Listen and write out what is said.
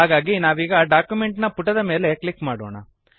ಹಾಗಾಗಿ ನಾವೀಗ ಡಾಕ್ಯುಮೆಂಟ್ ನ ಪುಟದ ಮೇಲೆ ಕ್ಲಿಕ್ ಮಾಡೋಣ